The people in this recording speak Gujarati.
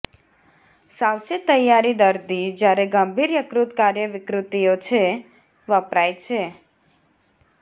સાવચેત તૈયારી દર્દી જ્યારે ગંભીર યકૃત કાર્ય વિકૃતિઓ છે વપરાય છે